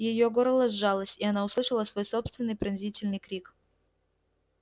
её горло сжалось и она услышала свой собственный пронзительный крик